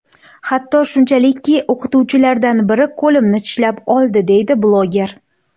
Hatto shunchalikki o‘qituvchilardan biri qo‘limni tishlab oldi”, deydi bloger.